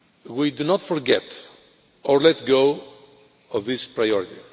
We will not forget or let go of this priority.